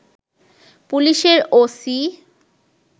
পুলিশের ওসি